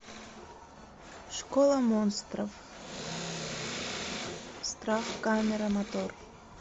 школа монстров страх камера мотор